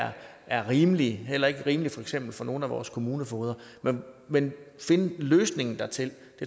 er rimelige heller ikke rimelige for eksempel for nogle af vores kommunefogeder men finde løsningen dertil